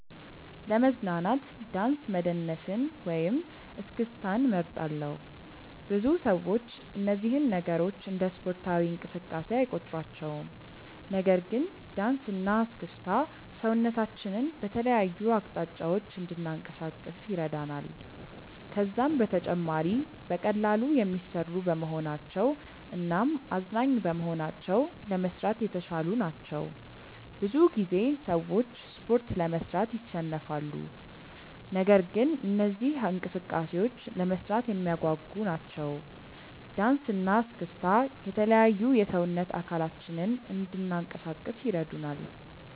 ለመዝናናት ዳንስ መደነስን ወይም እስክስታን እመርጣለሁ። ብዙ ሰዎች እነዚህን ነገሮች እንደ ስፖርታዊ እንቅስቃሴ አይቆጥሯቸውም። ነገር ግን ዳንስ እና እስክስታ ሰውነታችንን በተለያዩ አቅጣጫዎች እንድናንቀሳቅስ ይረዳናል። ከዛም በተጨማሪ በቀላሉ የሚሰሩ በመሆናቸው እናም አዝናኝ በመሆናቸው ለመስራት የተሻሉ ናቸው። ብዙ ጊዜ ሰዎች ስፖርት ለመስራት ይሰንፋሉ። ነገር ግን እነዚህ እንቅስቃሴዎች ለመስራት የሚያጓጉ ናቸው። ዳንሰ እና እስክስታ የተለያዩ የሰውነት አካላችንን እንናንቀሳቀስ ይረዱናል።